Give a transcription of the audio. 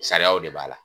Sariyaw de b'a la